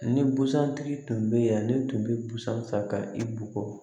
Ni busan tigi tun bɛ yan ne tun bɛ busan ka i bugɔ